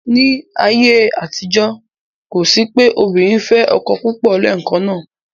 Ní ayé àtijọ́, kò sí pé obìnrin fẹ́ ọkọ púpọ̀ lẹ́ẹ̀kan náà.